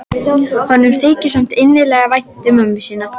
Honum þykir samt innilega vænt um mömmu sína.